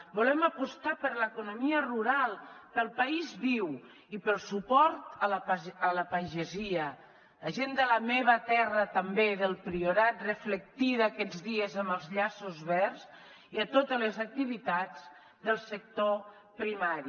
volem apostar per l’economia rural pel país viu i pel suport a la pagesia a la gent de la meva terra també del priorat reflectida aquests dies amb els llaços verds i a totes les activitats del sector primari